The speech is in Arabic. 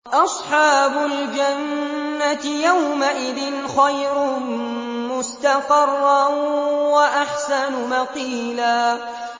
أَصْحَابُ الْجَنَّةِ يَوْمَئِذٍ خَيْرٌ مُّسْتَقَرًّا وَأَحْسَنُ مَقِيلًا